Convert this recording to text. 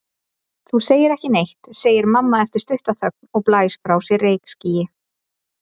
Þú segir ekki neitt, segir mamma eftir stutta þögn og blæs frá sér reykskýi.